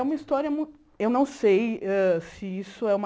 É uma história muito... Eu não sei hã se isso é uma...